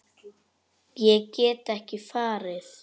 Ég get ekki farið.